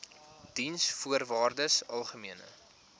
diensvoorwaardesalgemene